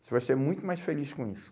Você vai ser muito mais feliz com isso.